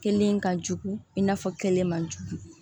Kelen ka jugu i n'a fɔ kelen man jugu